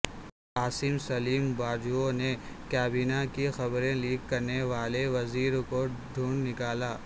عاصم سلیم باجوہ نے کابینہ کی خبریں لیک کرنے والے وزیرکو ڈھونڈ نکالا